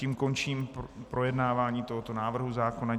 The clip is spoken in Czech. Tím končím projednávání tohoto návrhu zákona.